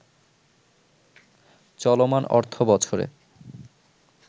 চলমান অর্থবছরে